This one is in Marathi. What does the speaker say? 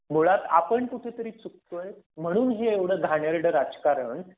मुळात आपण कुठेतरी चुकतोय.म्हणून हे एवढं घाणेरडं राजकारण